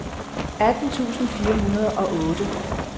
atten tusind fire hundrede og otte